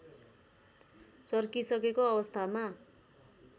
चर्किसकेको अवस्थामा